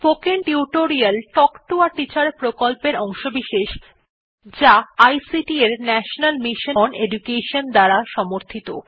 spoken tutorial talk to a teacher প্রকল্পের অংশবিশেষ যা আইসিটি এর ন্যাশনাল মিশন ওন এডুকেশন দ্বারা সমর্থিত